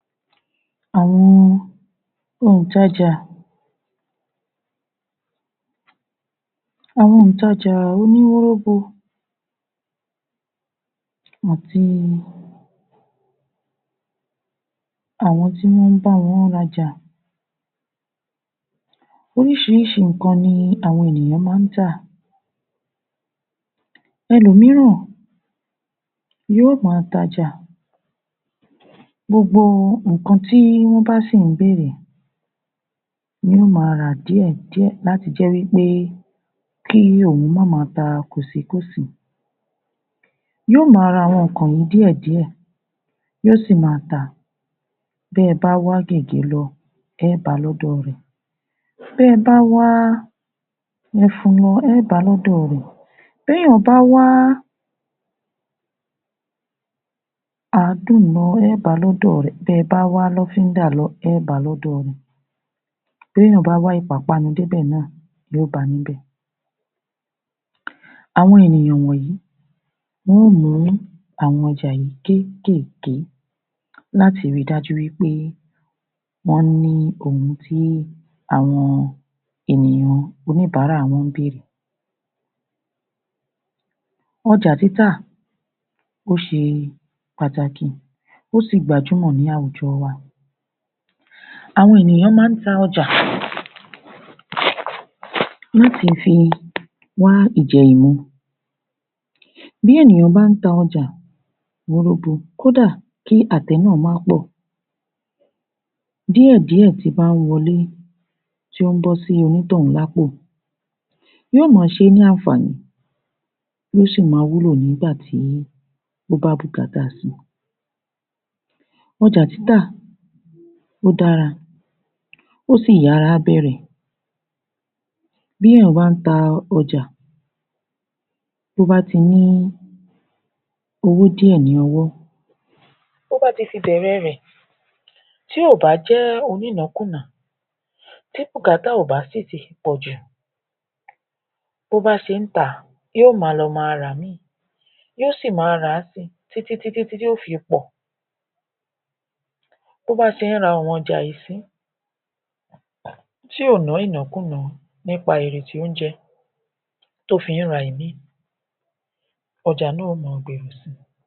Àwọn òǹtajà Àwọn òǹtajà oníwóróbo àti àwọn tí wọn bá wọ́n rajà Oríṣiríṣi nǹkan ní àwọn ènìyàn máa ta ẹlòmíràn yóò máa tajà gbogbo nǹkan tí wọn bá sì béèrè ni yóò máa ra díẹ̀ díẹ̀ láti jẹ wí pé kí èèyàn máà ma ta kòsí kòsí. Yóò máa ra àwọn nǹkan yìí díẹ̀ díẹ̀, yóò sì máa ta. Bí ẹ bá wá gègé lọ, ẹ bá lọ́dọ̀ rẹ̀. Bí ẹ bá wá ifu, ẹ bá lọ́dọ̀ rẹ̀. Bí èèyàn bá wá àádùn lọ, ẹ bá lọ́dọ̀ rẹ̀. Bí ẹ bá wá lọ́fídà lọ, ẹ bá lọ́dọ̀ rẹ̀. Bí èèyàn bá wá ìpápánu dé bẹ̀ náà, yóò bá níbẹ̀. Àwọn ènìyàn wọ̀nyí, wọn ó mú àwọn ọjà yìí kéékèèké láti rí dájú wí pé, wọ́n ní ohun tí àwọn ènìyàn oníbàárà wọn béèrè. Ọjà títà, ó ṣe pàtìkì, ó sì gbajúmò ní àwùjọ wa. Àwọn ènìyàn máa ń ta ọjà láti fi wá ìjẹ ìmu. Bí ènìyàn bá ń ta ọjà wóróbo, kódà kí àte náà má pọ̀, díẹ̀ díẹ̀ tí bá ń wọlé tí o ń bọ́ sí onítọ̀hùn lápò, yóò máa ṣe ní àǹfààní, yóò sì máa wúlò nígbà tí o bá bùkátà si. Ọjà títà, ó dára, ó sì yára bẹ̀rẹ̀. Bí èèyàn bá ń ta ọjà, tí o ba ti ní owó díẹ̀ lówọ́, tí o bá fi bẹ̀rẹ̀ rẹ̀, tí ò bá jẹ́ onínàákúnàá, tí bùkútà ò bá si ti pọ̀ jù. Bí ó ba ṣe ta, yóò máa lọ má rà mí. Yóò si máa rà si, tí tí tí tí yóò fi pọ̀. Bó bá ń ṣe rà àwọn ọjà yìí si, tí ò ná ìnákúnàá nípa èrè tí o ń jẹ, tí o fi ra ìmí, ọjà náà yóò máa gbèrò si.